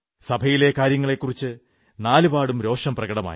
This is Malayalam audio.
സഭയിലെ കാര്യങ്ങളെക്കുറിച്ച് നാലുപാടും രോഷം പ്രകടമായി